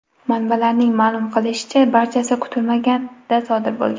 Manbalarning ma’lum qilishicha, barchasi kutilmaganda sodir bo‘lgan.